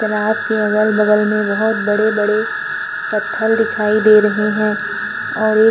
तलाब के अगल बगल में बहोत बड़े-बड़े पत्थल दिखाई दे रहे हैं और एक --